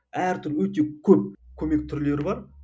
әр түр өте көп көмек түрлері бар